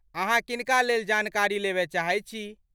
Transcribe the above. अहाँ किनका लेल जानकारी लेबय चाहैत छी?